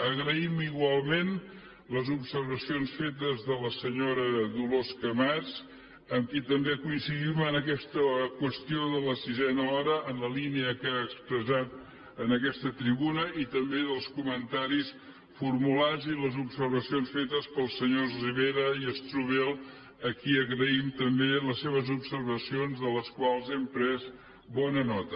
agraïm igualment les observacions fetes per la senyora dolors camats amb qui també coincidim en aquesta qüestió de la sisena hora en la línia que ha expressat en aquesta tribuna i també dels comentaris formulats i les observacions fetes pels senyors rivera i strubell a qui agraïm també les seves observacions de les quals hem pres bona nota